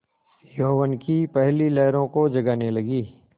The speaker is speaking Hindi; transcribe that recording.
यौवन की पहली लहरों को जगाने लगी